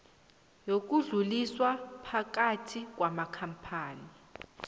yokudluliswa phakathi kwamakampani